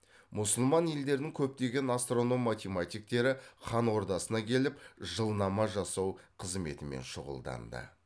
мұсылман елдерінің көптеген астроном математиктері хан ордасына келіп жылнама жасау қызметімен шұғылданды